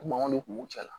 Mankanw de kun b'u cɛla